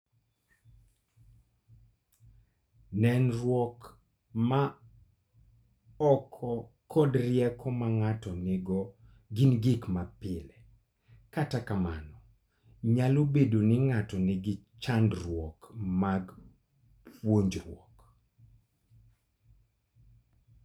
Nenruok ma oko kod rieko ma ng'ato nigo gin gik mapile, kata kamano, nyalo bedo ni ng'ato nigi chandruok mag puonjruok.